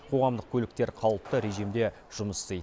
қоғамдық көліктер қалыпты режимде жұмыс істейді